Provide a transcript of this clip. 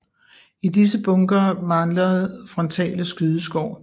I disse bunkere manglede frontale skydeskår